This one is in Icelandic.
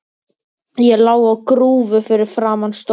Ég lá á grúfu fyrir framan stólinn.